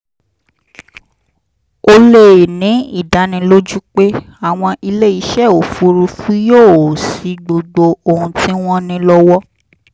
o lè ní ìdánilójú pé àwọn iléeṣẹ́ òfuurufú yóò ṣí gbogbo ohun tí wọ́n ní lọ́wọ́